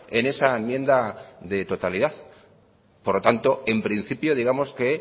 en esa enmienda de totalidad por lo tanto en principio digamos que